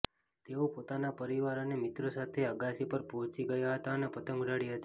તેઓ પોતાના પરિવાર અને મિત્રો સાથે અગાશી પર પહોંચી ગયા હતા અને પતંગ ઉડાડી હતી